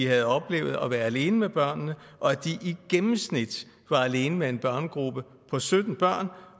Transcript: havde oplevet at være alene med børnene og at de i gennemsnit var alene med en børnegruppe på sytten børn